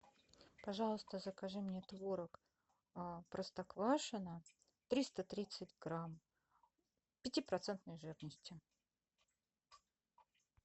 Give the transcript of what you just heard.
пожалуйста закажи мне творог простоквашино триста тридцать грамм пятипроцентной жирности